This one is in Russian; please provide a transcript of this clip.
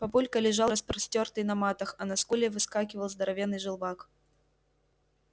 папулька лежал распростёртый на матах а на скуле вскакивал здоровенный желвак